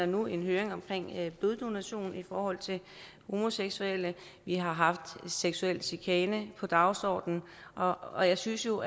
nu en høring om bloddonation i forhold til homoseksuelle vi har haft seksuel chikane på dagsordenen og jeg synes jo